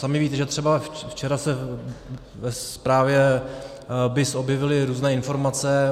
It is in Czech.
Sami víte, že třeba včera se ve zprávě BIS objevily různé informace.